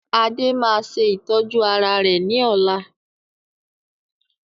Adé máa ṣe ìtọ́jú ara rẹ ní ọ̀la